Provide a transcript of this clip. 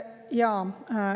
Jaa.